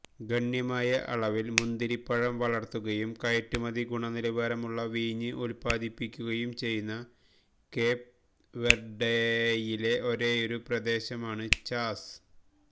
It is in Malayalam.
ഗണ്യമായ അളവിൽ മുന്തിരിപ്പഴം വളർത്തുകയും കയറ്റുമതി ഗുണനിലവാരമുള്ള വീഞ്ഞ് ഉത്പാദിപ്പിക്കുകയും ചെയ്യുന്ന കേപ് വെർഡെയിലെ ഒരേയൊരു പ്രദേശമാണ് ചാസ്